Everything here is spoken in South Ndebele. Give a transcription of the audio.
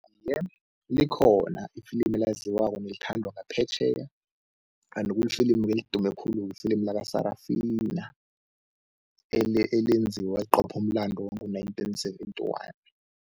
Iye, likhona ifilimu elaziwako nelithandwa ngaphetjheya kanti kulifilimu-ke elidume khulu, ifilimu laka-Sarafina elenziwa liqopha umlando wango-nineteen seventy-one.